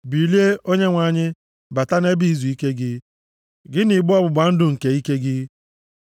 ‘Bilie, Onyenwe anyị, bata nʼebe izuike gị, gị na igbe ọgbụgba ndụ nke ike gị.